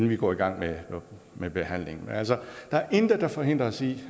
vi går i gang med med behandlingen men altså der er intet der forhindrer os i